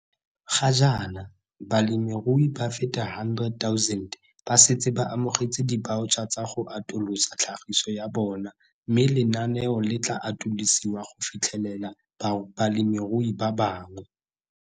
Ga jaana, balemirui ba feta 100 000 ba setse ba amogetse dibaotšha tsa go atolosa tlhagiso ya bona mme lenaneo le tla atolosiwa go fitlhelela balemirui ba bangwe.